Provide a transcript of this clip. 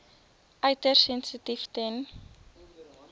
uiters sensitief ten